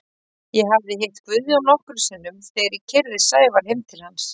Ég hafði hitt Guðjón nokkrum sinnum þegar ég keyrði Sævar heim til hans.